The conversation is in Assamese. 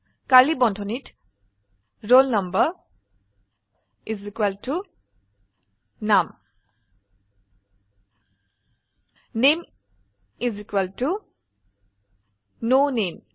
কাৰ্ডলী বন্ধনীত roll number is equal to num name is equal to n নামে